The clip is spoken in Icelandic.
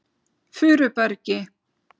Furubergi